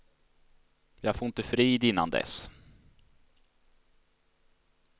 Jag får inte frid innan dess.